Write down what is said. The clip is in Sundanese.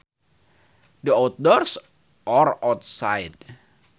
The outdoors or outside